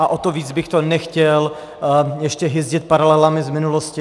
A o to víc bych to nechtěl ještě hyzdit paralelami z minulosti.